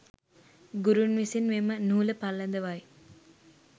ගුරුන් විසින් මෙම නූල පළඳවයි